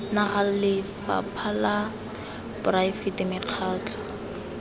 naga lephata la poraefete mekgatlho